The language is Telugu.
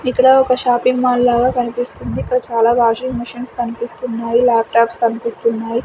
ఇక్కడ ఒక షాపింగ్ మాల్ లాగా కనిపిస్తుంది ఇక్కడ చాలా వాషింగ్ మీషిన్స్ కనిపిస్తున్నాయి లాప్టాప్స్ కనిపిస్తున్--